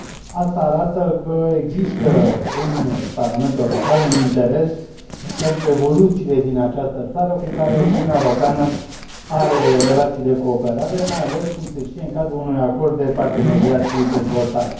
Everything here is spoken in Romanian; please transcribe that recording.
Acest lucru arată că există în Parlamentul European un interes pentru evoluțiile din această țară cu care Uniunea Europeană are relații de cooperare, mai ales, cum se știe, în cadrul unui acord de parteneriat și dezvoltare.